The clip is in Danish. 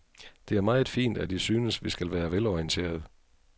Det er meget fint, at I synes, vi skal være velorienterede.